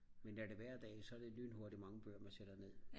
men når det er hver dag så er det lynhurtigt mange bøger man sætter ned